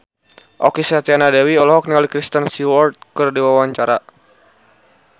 Okky Setiana Dewi olohok ningali Kristen Stewart keur diwawancara